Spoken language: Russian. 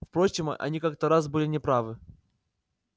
впрочем они-то как раз были не правы